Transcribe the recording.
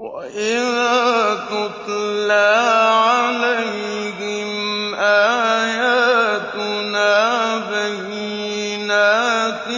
وَإِذَا تُتْلَىٰ عَلَيْهِمْ آيَاتُنَا بَيِّنَاتٍ